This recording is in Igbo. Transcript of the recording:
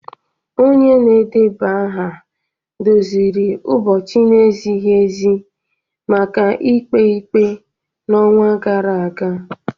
Onye na-edeba aha doziri ụbọchị na-ezighi ezi maka ikpe ikpe n'ọnwa gara aga